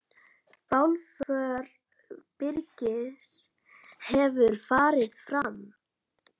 Bálför Birgis hefur farið fram.